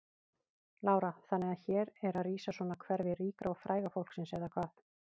Lára: Þannig að hér er rísa svona hverfi ríka og fræga fólksins eða hvað?